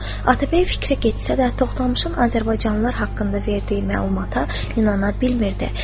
Atabəy fikrə getsə də, toxtamışın azərbaycanlılar haqqında verdiyi məlumata inana bilmirdi.